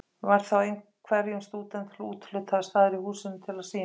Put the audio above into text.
Var þá hverjum stúdent úthlutaður staður í húsinu til að sýna.